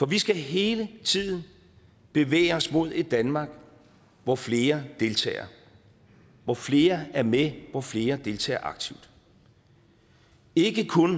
vi skal hele tiden bevæge os mod et danmark hvor flere deltager hvor flere er med hvor flere deltager aktivt ikke kun